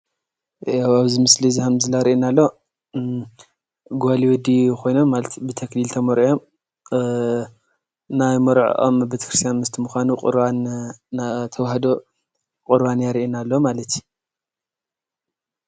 ያው ኣብዚ ምስሊ ሀምዚ ዘርእየና ዘሎ ጓልይ ወዲን ኾይኖም ማለት እዩ ።ብተኽሊል ተመርዕዎም አአ ናይ መርዐዖሞ ቤተክርስትያን ምስቲ ምዃኑ ቁርባን ናይ ተዋህዶ ቁርባን የርእየና ማለት እዩ።